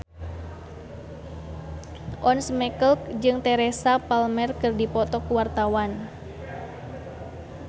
Once Mekel jeung Teresa Palmer keur dipoto ku wartawan